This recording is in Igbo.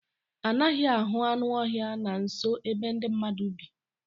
Anaghị ahụ anụ ọhịa na nso ebe ndị mmadụ bi.